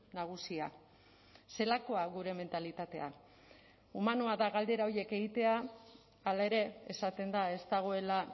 nagusia zelakoa gure mentalitatea humanoa da galdera horiek egitea hala ere esaten da ez dagoela